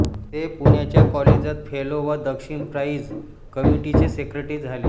ते पुण्याच्या कॉलेजांत फेलो व दक्षिणा प्राईझ कमिटीचे सेक्रेटरी झाले